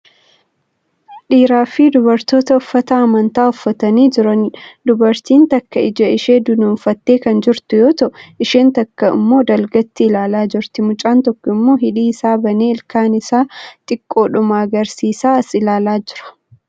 Dhiiraa fi dubartoota uffata amantaa uffatanii jiraniidha. Dubartiin takka ija ishee dunuunfattee kan jirtu yoo ta'u isheen takka immoo dalgatti ilaalaa jirti. Mucaan tokko immoo hidhii isaa banee ilkaan isaa xiqqoodhuma agarsiisaa as ilaalaa jira.